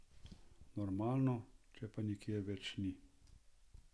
Normalno, če pa je nikjer več ni.